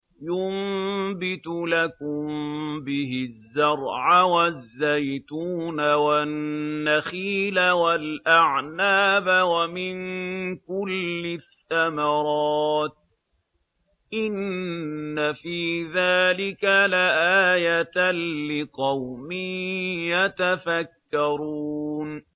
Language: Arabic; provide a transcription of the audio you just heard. يُنبِتُ لَكُم بِهِ الزَّرْعَ وَالزَّيْتُونَ وَالنَّخِيلَ وَالْأَعْنَابَ وَمِن كُلِّ الثَّمَرَاتِ ۗ إِنَّ فِي ذَٰلِكَ لَآيَةً لِّقَوْمٍ يَتَفَكَّرُونَ